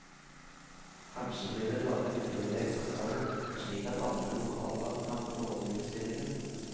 Kanskje blir det laget flere eksemplarer, slik at andre lokallag kan få låne utstillingen.